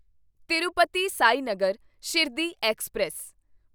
Tirupati Sainagar Shirdi express